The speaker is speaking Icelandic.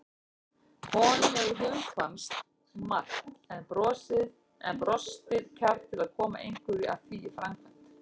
Honum hefur hugkvæmst margt en brostið kjark til að koma einhverju af því í framkvæmd.